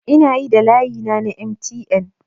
Ina yi da layina na MTN